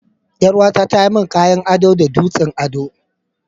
Yar uwa ta tayi mun kayan ado da dutsen ado.